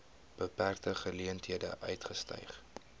beperkte geleenthede uitgestyg